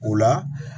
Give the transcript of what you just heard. O la